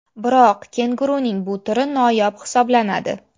Biroq kenguruning bu turi noyob hisoblanadi.